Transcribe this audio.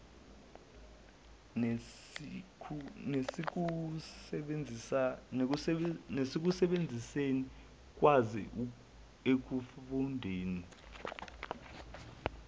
nasekusebenziseni ukwazi ekufundeni